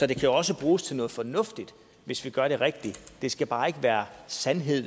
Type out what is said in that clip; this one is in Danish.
kan jo også bruges til noget fornuftigt hvis vi gør det rigtigt det skal bare ikke være sandhed